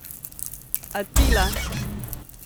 Atila!